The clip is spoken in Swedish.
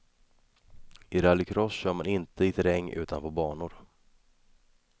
I rallycross kör man inte i terräng, utan på banor.